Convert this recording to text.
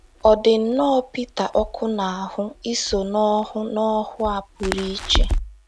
Ọ dị nnọọ Pita ọkụ n’ahụ́ iso n’ọhụụ n’ọhụụ a pụrụ iche.